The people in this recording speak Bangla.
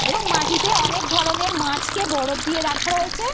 এবং মাটিতে অনেকধরণের মাছ কে বরফ দিয়ে রাখা রয়েছে।